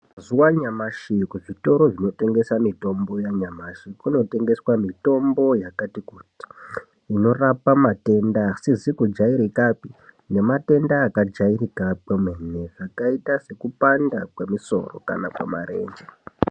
Mazuva anyamashi kuzvitoro zvinotengesa mitombo yanyamashi kunotengeswa mitombo yakati kuti inorapa matenda asizi kujairikapi nematenda akajairika kwemene akaita sekupanda kwemisoro kana kwemarenje.